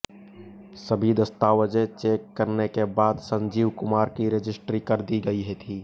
सभी दस्तावेज चेक करने के बाद संजीव कुमार की रजिस्ट्री कर दी गई थी